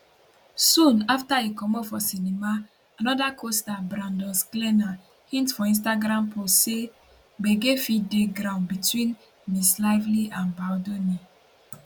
soon afta e comot for cinema anoda costar brandon sklenar hint for instagram post say gbege fit dey ground between ms lively and baldoni